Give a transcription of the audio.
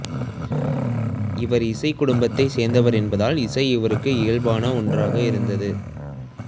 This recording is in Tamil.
இவர் இசைக் குடும்பத்தைச் சேர்ந்தவர் என்பதால் இசை இவருக்கு இயல்பான ஒன்றாக இருந்தது